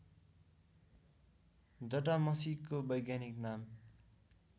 जटामसीको वैज्ञानिक नाम